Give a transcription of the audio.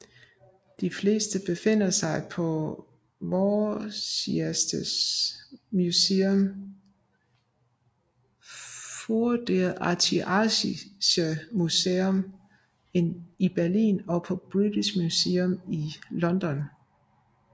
De fleste befinder sig på Vorderasiatisches Museum i Berlin og på British Museum i London